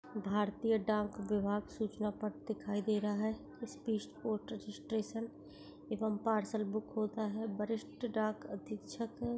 भारतीय डाक विभाग सूचना पट्ट दिखाई दे रहा है इस स्पीड पोस्ट रजिस्ट्रेशन एवं पार्सल बुक होता है बरिस्ट डाक अधिक छक--